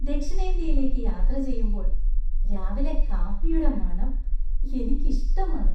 ദക്ഷിണേന്ത്യയിലേക്ക് യാത്ര ചെയ്യുമ്പോൾ രാവിലെ കാപ്പിയുടെ മണം എനിക്കിഷ്ടമാണ്.